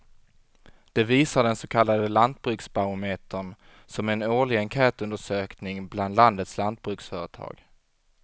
Det visar den så kallade lantbruksbarometern som är en årlig enkätundersökning bland landets lantbruksföretag.